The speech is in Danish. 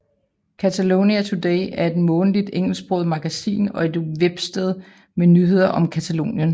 Catalonia Today er et månedligt engelsksproget magasin og et websted med nyheder om Catalonien